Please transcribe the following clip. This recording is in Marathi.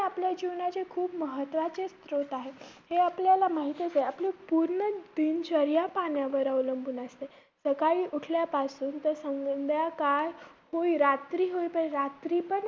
आपल्या जीवनाचे खूप महत्वाचे स्त्रोत आहेत. हे आपल्याला माहितचं आहे. आपली पूर्ण दिनचर्या पाण्यावर अवलंबून असते, सकाळी उठल्यापासून तर संध्याकाळ होई~ रात्र होई~ पर्यंत रात्रीपण